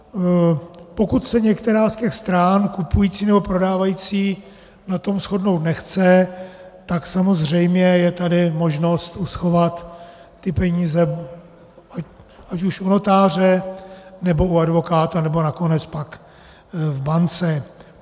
Pokud se některá z těch stran, kupující nebo prodávající, na tom shodnout nechce, tak samozřejmě je tady možnost uschovat ty peníze ať už u notáře, nebo u advokáta, nebo nakonec pak v bance.